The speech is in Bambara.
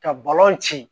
Ka balon ci